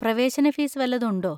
പ്രവേശന ഫീസ് വല്ലതും ഉണ്ടോ?